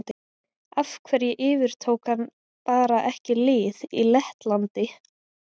Af hverju yfirtók hann bara ekki lið í Lettlandi?